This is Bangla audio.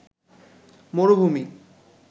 মরুভূমি